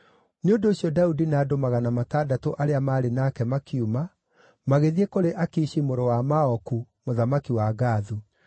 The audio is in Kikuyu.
Nĩ ũndũ ũcio Daudi na andũ magana matandatũ arĩa maarĩ nake makiuma, magĩthiĩ kũrĩ Akishi mũrũ wa Maoku, mũthamaki wa Gathu.